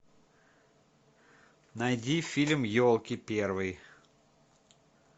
найди фильм елки первый